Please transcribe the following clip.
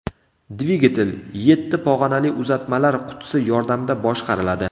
Dvigatel yetti pog‘onali uzatmalar qutisi yordamida boshqariladi.